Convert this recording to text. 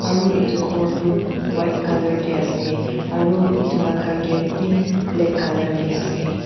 Aro etu ghor tuh white colour dae ase aro etu laga gate bhi black colour dae ase.